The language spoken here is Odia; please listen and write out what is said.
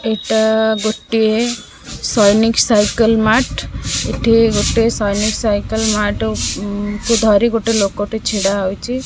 ଏଟା ଗୋଟିଏ ସୈନିକ୍ ସାଇକେଲ ମାର୍ଟ ଏଠି ଗୋଟେ ସୈନିକ୍ ସାଇକେଲ ମାର୍ଟ ଉଁ କୁ ଧରି ଗୋଟେ ଲୋକ ଟେ ଛିଡ଼ା ହୋଇଚି।